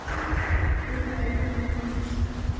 Burkney, hvenær kemur þristurinn?